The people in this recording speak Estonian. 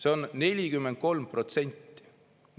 See on 43%.